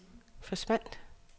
forsvandt